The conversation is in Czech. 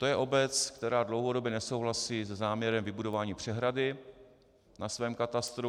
To je obec, která dlouhodobě nesouhlasí se záměrem vybudování přehrady na svém katastru.